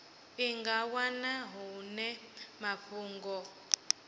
i nga wana hone mafhungo